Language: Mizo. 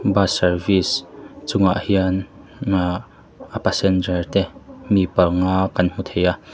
bus service chungah hian ahh a passenger te mi panga kan hmu thei a.